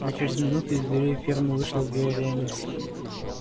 а через минуту из дверей фермы вышла вереница